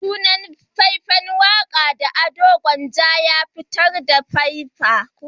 Sunan sabon fai-fan waka da Ado Gwanja ya fitar "A Sosa"